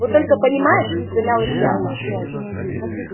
вот только понимаешь замялась я